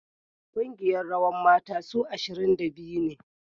Kungiyar rawan mata su ashirin da biyu ne